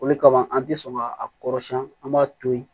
Olu kama an tɛ sɔn ka a kɔrɔsiyɛn an b'a to yen